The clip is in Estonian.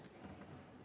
Aitäh!